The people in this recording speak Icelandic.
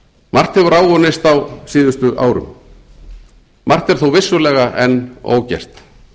margt hefur áunnist á síðustu árum margt er þó vissulega enn ógert